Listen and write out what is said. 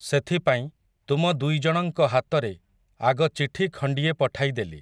ସେଥିପାଇଁ, ତୁମ ଦୁଇଜଣଙ୍କ ହାତରେ, ଆଗ ଚିଠି ଖଣ୍ଡିଏ ପଠାଇଦେଲି ।